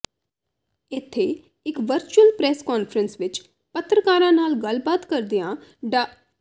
ਇਥੇ ਇਕ virtual press conference ਵਿਚ ਪੱਤਰਕਾਰਾਂ ਨਾਲ ਗੱਲਬਾਤ ਕਰਦਿਆਂ ਡਾ